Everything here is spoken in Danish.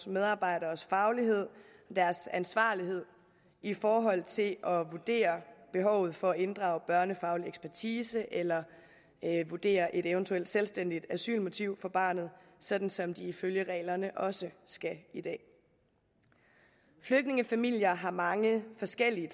medarbejdernes faglighed og ansvarlighed i forhold til at vurdere behovet for at inddrage børnefaglig ekspertise eller vurdere et eventuelt selvstændigt asylmotiv for barnet sådan som de ifølge reglerne også skal i dag flygtningefamilier har mange forskellige